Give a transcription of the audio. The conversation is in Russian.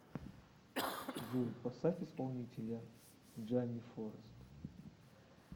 джой поставь исполнителя джимми форрест